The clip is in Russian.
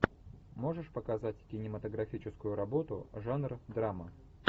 можешь показать кинематографическую работу жанр драма